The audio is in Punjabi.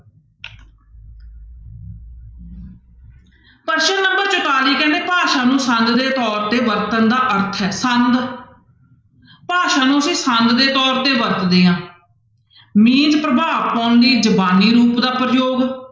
ਪ੍ਰਸ਼ਨ number ਚੁਤਾਲੀ ਕਹਿੰਦੇ ਭਾਸ਼ਾ ਨੂੰ ਸੰਦ ਦੇ ਤੌਰ ਤੇ ਵਰਤਣ ਦਾ ਅਰਥ ਹੈ ਸੰਦ ਭਾਸ਼ਾ ਨੂੰ ਅਸੀਂ ਸੰਦ ਦੇ ਤੌਰ ਤੇ ਵਰਤਦੇ ਹਾਂ ਪ੍ਰਭਾਵ ਪਾਉਣ ਲਈ ਜ਼ੁਬਾਨੀ ਰੂਪ ਦਾ ਪ੍ਰਯੋਗ